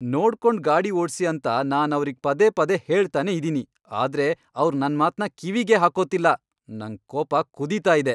ನೋಡ್ಕೊಂಡ್ ಗಾಡಿ ಓಡ್ಸಿ ಅಂತ ನಾನ್ ಅವ್ರಿಗ್ ಪದೇ ಪದೇ ಹೇಳ್ತಾನೇ ಇದೀನಿ, ಆದ್ರೆ ಅವ್ರ್ ನನ್ಮಾತ್ನ ಕಿವಿಗೇ ಹಾಕೋತಿಲ್ಲ, ನಂಗ್ ಕೋಪ ಕುದೀತಾ ಇದೆ.